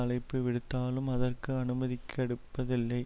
அழைப்பு விடுத்தாலும் அதற்கு அனுமதிகெடுப்பதில்லை